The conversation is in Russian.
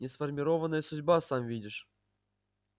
несформированная судьба сам видишь